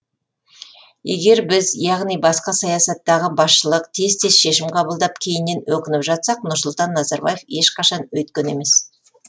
егер біз яғни басқа саясаттағы басшылық тез тез шешім қабылдап кейіннен өкініп жатсақ нұрсұлтан назарбаев ешқашан өйткен емес